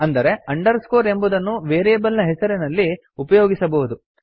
ಅಂದರೆ ಅಂಡರ್ಸ್ಕೋರ್ ಎಂಬುದುದನ್ನು ವೇರಿಯೇಬಲ್ ಹೆಸರಿನಲ್ಲಿ ಉಪಯೋಗಿಸಬಹುದು